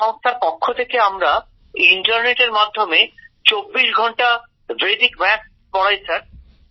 এই সংস্থার পক্ষ থেকে আমরা ইন্টারনেটের মাধ্যমে ২৪ ঘন্টা বৈদিক অঙ্ক করাই স্যার